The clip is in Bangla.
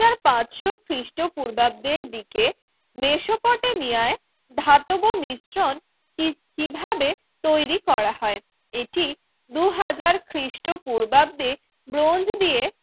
পাঁচশো খ্রিস্টপূর্বাব্দের দিকে মেসোপটে মিয়ায় ধাতব মিশ্রণ কিভাবে তৈরি করা হয় এটি দুই হাজার খ্রিষ্টপূর্বাব্দে ব্রোঞ্চ দিয়ে